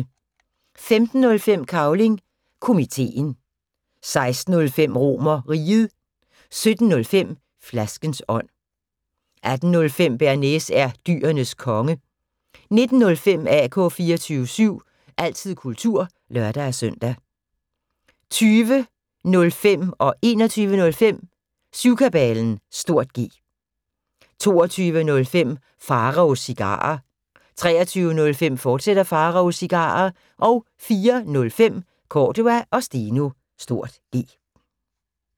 15:05: Cavling Komiteen 16:05: RomerRiget 17:05: Flaskens ånd 18:05: Bearnaise er Dyrenes Konge 19:05: AK 24syv – altid kultur (lør-søn) 20:05: Syvkabalen (G) 21:05: Syvkabalen (G) 22:05: Pharaos Cigarer 23:05: Pharaos Cigarer, fortsat 04:05: Cordua & Steno (G)